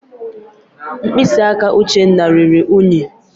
Mkpịsị aka Uchenna ruru ùnyí.